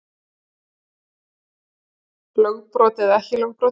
Lögbrot eða ekki lögbrot